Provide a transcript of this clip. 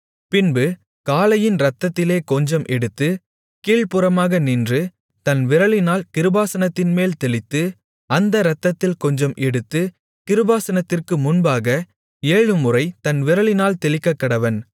பின்பு காளையின் இரத்தத்திலே கொஞ்சம் எடுத்து கீழ்ப்புறமாக நின்று தன் விரலினால் கிருபாசனத்தின்மேல் தெளித்து அந்த இரத்தத்தில் கொஞ்சம் எடுத்துக் கிருபாசனத்திற்கு முன்பாக ஏழுமுறை தன் விரலினால் தெளிக்கக்கடவன்